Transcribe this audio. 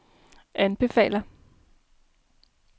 anbefaler